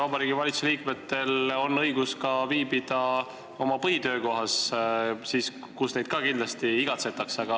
Vabariigi Valitsuse liikmetel on õigus viibida ka oma põhitöökohas, kus neid kindlasti ka igatsetakse.